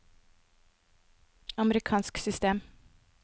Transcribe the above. amerikansk system